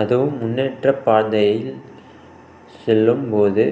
அதுவும் முன்னேற்றப்பாதையில் செல்லும் போது